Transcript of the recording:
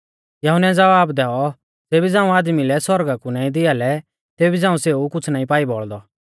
यहुन्नै ज़वाब दैऔ ज़ेबी झ़ांऊ आदमी लै सौरगा कु नाईं दिआ लै तेबी झ़ांऊ सेऊ कुछ़ नाईं पाई बौल़दौ